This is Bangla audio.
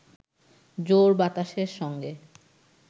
জোর বাতাসের সঙ্গে